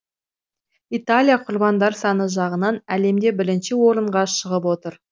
италия құрбандар саны жағынан әлемде бірінші орынға шығып отыр